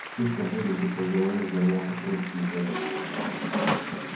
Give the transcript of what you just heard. вспышка боли будто в голове взорвался крошечный заряд